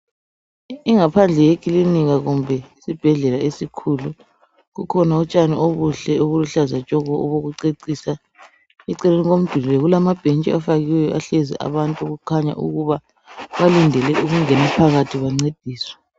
Ingaphandle yekilinika kumbe isibhedlela esikhulu. Kukhona utshani obuhle, obuluhlaza tshoko! Obokucecisa. Eceleni komduli lo, kukhona amabhentshi afakiweyo, ahlezi abantu. Okukhanya ukuthi balindele ukungena phakathi bancediswe.